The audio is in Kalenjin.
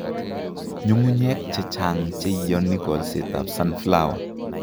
Nyung'unyek che chang' che ioni kolsetab sunflower